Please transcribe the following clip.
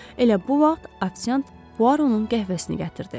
Elə bu vaxt ofisiant Puaronun qəhvəsini gətirdi.